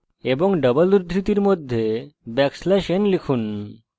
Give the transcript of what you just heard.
এবং double উদ্ধৃতির মধ্যে ব্যাকস্ল্যাশ \n লিখুন